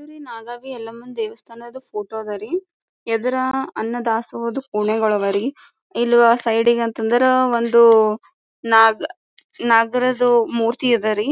ಇದು ರೀ ನಾಗಾವಿ ಯಲಮ್ಮ ದೇವಸ್ಥಾನದ ಫೋಟೋ ಅದ್ ರೀ ಎದ್ರ ಅನ್ನ ದಾಸೋಹದ ಪುಣಿಗಳು ಅವರಿ ಇಲ್ವ್ ಸೈಡಿಗ್ ಅಂತ ಅಂದ್ರ ಒಂದು ನಾಗ್ ನಾಗರಾಜವು ಮೂರ್ತಿ ಅದ್ ರೀ